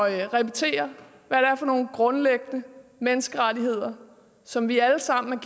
at repetere hvad det er for nogle grundlæggende menneskerettigheder som vi alle sammen